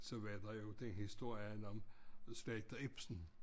Så var der jo den historien om slagter Ibsen